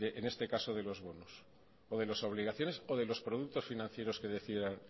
en este caso de los bonos o de las obligaciones o de los productos financieros que decidan